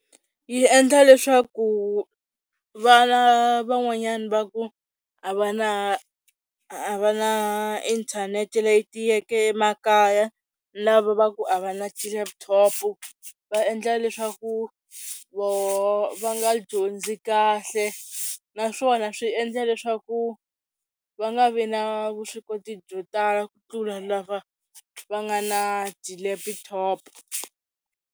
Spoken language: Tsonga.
Yi endla leswaku vana van'wanyana va ku a va na a va na inthanete leyi tiyeke emakaya lava va ku a va na ti-laptop va endla leswaku voho va nga dyondzi kahle, naswona swi endla leswaku va nga vi na vuswikoti byo tala ku tlula lava va nga na ti-laptop.